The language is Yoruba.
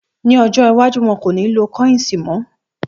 Ní ọjọ́ iwájú, wọn kò ní lo kọ́yìǹsì mọ́